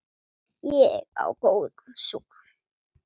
Ég á góðan son.